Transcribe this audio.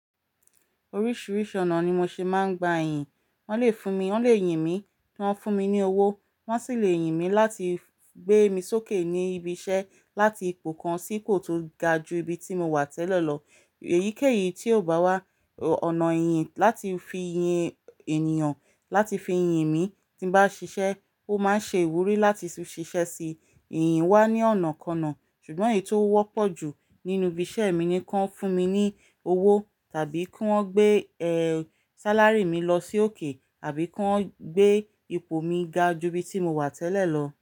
Oríṣìíríṣìí ọ̀nà ni mo ṣe máa ń gba ẹ̀yìn. Wọ́n lè fún mi, wọ́n lè yìn mí, kí wọ́n fún mi ní owó, wọ́n sì lè yìn mí láti gbé mi sókè ní ibi iṣẹ́, láti ipò kan sí ipò tó ga ju ibi tí mo wà tẹ́lẹ̀ lọ. Èyíkéyìí tí ò bá wà, ọ̀nà ìyìn láti fi yìn ènìyàn, láti fi yìn mí tí n bá ṣiṣẹ́, ó máa ń ṣe ìwúrí láti ṣiṣẹ́ sí i. Ìyìn wà ní ọ̀nàkọnà, ṣùgbọ́n èyí tó wọ́pọ̀ jù nínú ibi iṣẹ́ mi ni kí wọ́n fún mi ní owó tàbí kí wọ́n gbé ẹ, sáláry mí lọ sókè àbí kí wọ́n gbé ipò mi ga ju ibi tí mo wà tẹ́lẹ̀ lọ.